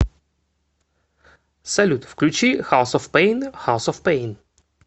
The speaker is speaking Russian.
салют включи хаус оф пейн хаус оф пейн